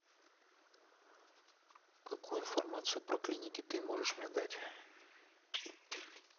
какую информацию про клиники ты можешь мне дать